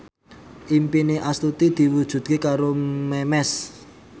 impine Astuti diwujudke karo Memes